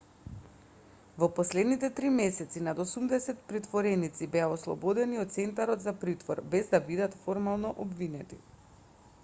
во последните 3 месеци над 80 притвореници беа ослободени од центарот за притвор без да бидат формално обвинети